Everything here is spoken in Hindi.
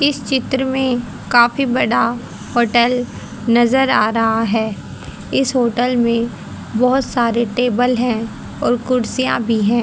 इस चित्र में काफी बड़ा होटल नजर आ रहा है इस होटल में बहोत सारे टेबल है और कुर्सियां भी है।